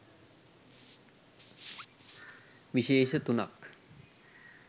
විශේෂ තුනක්